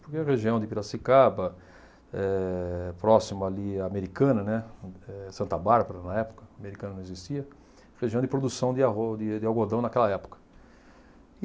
Porque a região de Piracicaba, eh, próximo ali à Americana, né, eh, Santa Bárbara na época, Americana não existia, região de produção de arro de de algodão naquela época.